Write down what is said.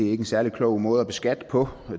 er en særlig klog måde at beskatte på